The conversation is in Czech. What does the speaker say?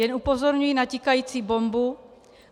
Jen upozorňuji na tikající bombu.